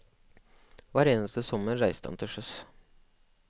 Hver eneste sommer reiste han til sjøs.